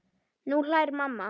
Nú hlær mamma.